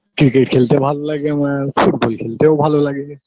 cricket খেলতে ভাল্লাগে আমার football খেলতেও ভালো লাগে